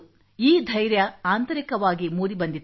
ಈ ಧೈರ್ಯ ಆಂತರಿಕವಾಗಿ ಮೂಡಿ ಬಂದಿತು